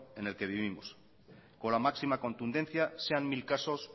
en el que vivimos con la máxima contundencia sean mil casos